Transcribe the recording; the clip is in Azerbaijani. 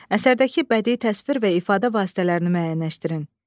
Əsərdəki bədii təsvir və ifadə vasitələrini müəyyənləşdirin.